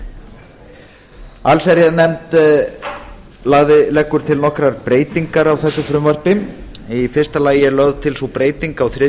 aðila allsherjarnefnd leggur til nokkrar breytingar á þessu frumvarpi í fyrsta lagi er lögð til sú breyting á þriðju